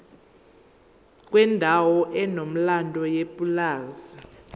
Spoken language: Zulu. kwendawo enomlando yepulazi